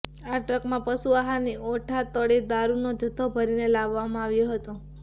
આ ટ્રકમાં પશુ આહારની ઓઠા તળે દારૂનો જથ્થો ભરીને લાવવામાં આવ્યો હતો